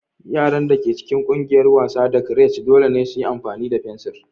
Yaran da ke cikin ƙungiyar wasa da creche dole ne su yi rubutu da fensir.